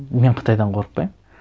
мен қытайдан қорықпаймын